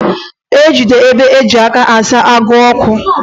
Ejide ibe ji n'aka, a saa agụụ okwu.